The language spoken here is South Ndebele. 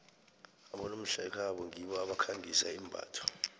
abonomhlekhabo ngibo abakhangisa imbatho